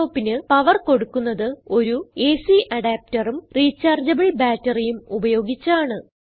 laptopന് power കൊടുക്കുന്നത് ഒരു AC adapterഉം റീചാർജബിൾ batteryഉം ഉപയോഗിച്ചാണ്